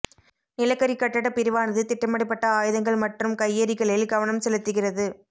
நிலக்கரி கட்டடப் பிரிவானது திட்டமிடப்பட்ட ஆயுதங்கள் மற்றும் கையெறிகளில் கவனம் செலுத்துகிறது